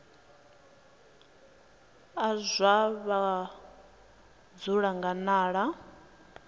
a zwa vhudzulo nga nila